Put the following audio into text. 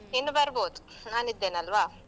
ಇನ್ನು ಬರ್ಬೋದು ನಾನಿದ್ದೇನಲ್ವಾ.